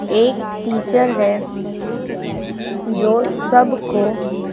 एक टीचर है जो सबको--